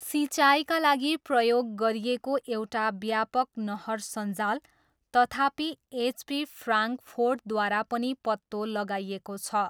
सिँचाइका लागि प्रयोग गरिएको एउटा व्यापक नहर सञ्जाल, तथापि एच.पी. फ्राङ्कफोर्टद्वारा पनि पत्तो लगाइएको छ।